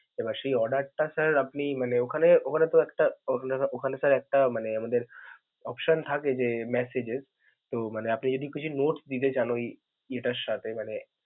এবার সে order টা sir আপনি মানে ওখানে~ ওখানে তো একটা ওখানে option একটা মানে আমাদের option থাকে যে message এর, তো মানে আপনি যদি কিছু notes দিতে চান, ওই ইটার সাথে.